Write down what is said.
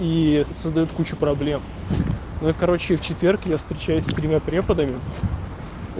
и создаёт кучу проблем но и короче в четверг я встречаюсь с тремя преподами